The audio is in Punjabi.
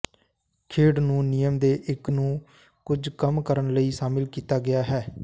ਖੇਡ ਨੂੰ ਨਿਯਮ ਦੇ ਇੱਕ ਨੂੰ ਕੁਝ ਕੰਮ ਕਰਨ ਲਈ ਸ਼ਾਮਿਲ ਕੀਤਾ ਗਿਆ ਹੈ